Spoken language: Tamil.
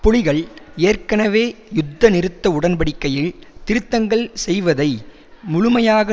புலிகள் ஏற்கனவே யுத்தநிறுத்த உடன்படிக்கையில் திருத்தங்கள் செய்வதை முழுமையாக